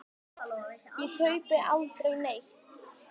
Ég kaupi aldrei neitt.